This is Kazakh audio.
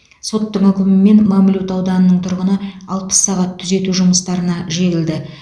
соттың үкімімен мамлют ауданының тұрғыны алпыс сағат түзету жұмыстарына жегілді